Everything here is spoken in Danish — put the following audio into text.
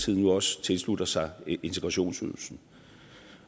nu også tilslutter sig integrationsydelsen